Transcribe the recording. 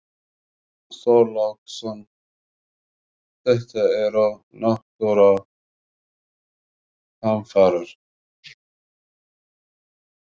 Björn Þorláksson: Þetta eru náttúruhamfarir?